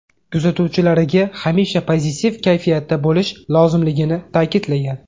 Kuzatuvchilariga hamisha pozitiv kayfiyatda bo‘lish lozimligini ta’kidlagan.